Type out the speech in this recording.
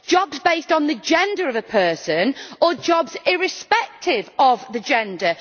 Jobs based on the gender of a person, or jobs irrespective of the gender?